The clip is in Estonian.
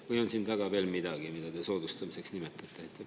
Või on siin taga veel midagi, mida te soodustamiseks nimetate?